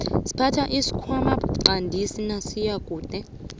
siphatha isikhwana siqandisi nasiyakude